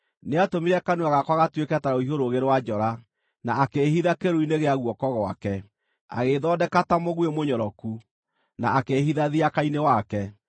Nĩatũmire kanua gakwa gatuĩke ta rũhiũ rũũgĩ rwa njora, na akĩĩhitha kĩĩruru-inĩ gĩa guoko gwake; agĩĩthondeka ta mũguĩ mũnyoroku, na akĩĩhitha thiaka-inĩ wake.